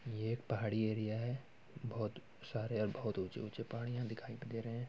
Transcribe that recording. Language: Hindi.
यह एक पहाड़ी एरिया है। बहुत सारे और बहुत ऊँचे-ऊँचे पहाड़िया दिखाई दे रहे हैं।